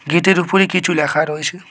গেটের উপরে কিছু লেখা রয়েছে।